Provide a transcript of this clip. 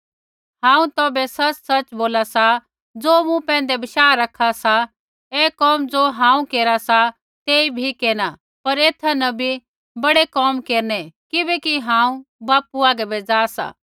हांऊँ तौभै सच़सच़ बोला सा ज़ो मूँ पैंधै बशाह रखा सा ऐ कोम ज़ो हांऊँ केरा सा तेई भी केरना पर ऐथा न भी बड़े कोम केरनै किबैकि हांऊँ बापू आगै बै जा सा